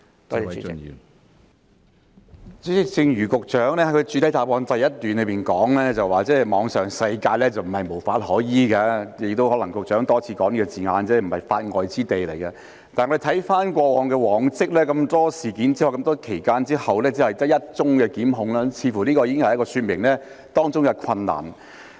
主席，正如局長在主體答覆第一部分提到，網上世界並非無法可依，局長亦多次提到這個字眼，即並非法外之地，但我們回顧往績，經過眾多事件和長時間之後，只有1宗檢控，這似乎已經說明了當中的困難。